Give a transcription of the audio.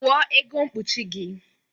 Kwọ ego mkpụchị gi